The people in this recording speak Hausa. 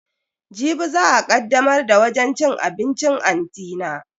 Jibi za a kaddamar da wajen cin abincin anti na.